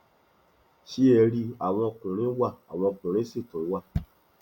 ṣé ẹ rí i àwọn ọkùnrin wa àwọn ọkùnrin sì tún wà